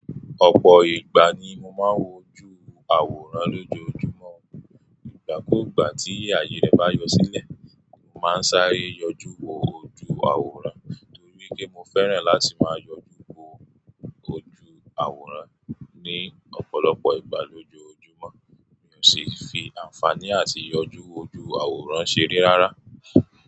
Ọ̀pọ̀ ìgbà ni mo máa ń wojú àwòrán lójoojúmọ́. Ìgbà kúùgbà tí ayé rẹ bá yọ sílẹ̀, mo máa ń sáré yọjú wo ojú àwòrán torí pé mo fẹ́ràn láti máa yọjú wo ojú àwòrán ní ọ̀pọ̀lọpọ̀ ìgbà lójoojúmọ́. Mo sì fi àǹfààní àti ìyọjú wo ojú àwòrán ṣeré rárá.